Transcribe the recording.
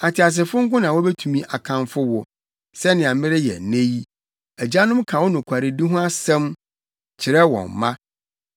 Ateasefo nko na wobetumi akamfo wo, sɛnea mereyɛ nnɛ yi; agyanom ka wo nokwaredi ho asɛm kyerɛ wɔn mma.